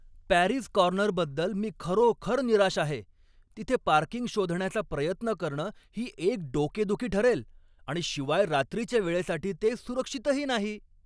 Parry's कॉर्नरबद्दल मी खरोखर निराश आहे. तिथे पार्किंग शोधण्याचा प्रयत्न करणं ही एक डोकेदुखी ठरेल आणि शिवाय रात्रीच्या वेळेसाठी ते सुरक्षितही नाही.